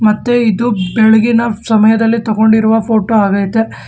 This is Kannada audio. ಮತ್ತು ಇದು ಬೆಳಗಿನ ಸಮಯದಲ್ಲಿ ತಗೊಂಡಿರುವ ಫೋಟೋ ಆಗ್ಯತೆ.